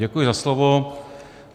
Děkuji za slovo.